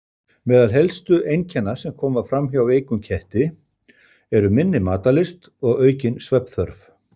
Meðal helstu einkenna sem koma fram hjá veikum ketti eru minni matarlyst og aukin svefnþörf.